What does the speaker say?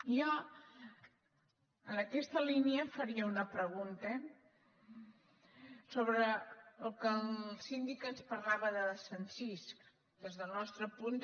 jo en aquesta línia em faria una pregunta sobre el que el síndic ens parlava de desencís des del nostre punt